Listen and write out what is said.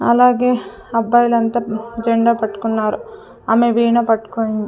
అలాగే అబ్బాయిలంతా జెండా పట్టుకున్నారు ఆమె వీణ పట్కునింద్--